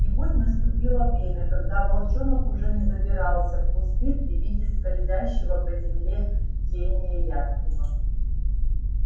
и вот наступило время когда волчонок уже не забирался в кусты при виде скользящей по земле тени ястреба